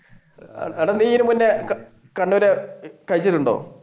എടാ നീ ഇതിനു മുൻപ് കണ്ണൂർ കഴിച്ചിട്ടുണ്ടോ?